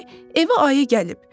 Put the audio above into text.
Pəri evə ayı gəlib.